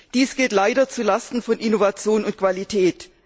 Dies geht leider zu Lasten von Innovation und Qualität.